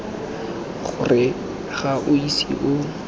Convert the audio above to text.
gore ga o ise o